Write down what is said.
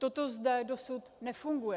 Toto zde dosud nefunguje.